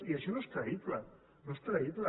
i això no és creïble no és creïble